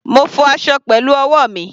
Mo fọ aṣọ pẹ̀lú ọwọ́ mi.